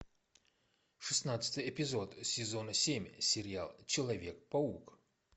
шестнадцатый эпизод сезона семь сериал человек паук